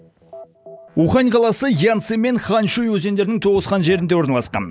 ухань қаласы янцзы мен ханьшуй өзеніндерінің толысқан жерінде орналасқан